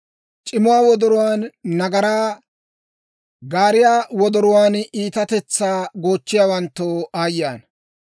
C'imuwaa wodoruwaan nagaraa, gaariyaa wodoruwaan iitatetsaa goochchiyaawanttoo aayye ana!